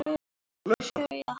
Guðrún segist sátt.